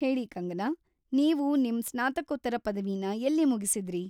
ಹೇಳಿ ಕಂಗನಾ, ನೀವು ನಿಮ್ ಸ್ನಾತಕೋತ್ತರ ಪದವಿನ ಎಲ್ಲಿ ಮುಗಿಸಿದ್ರಿ?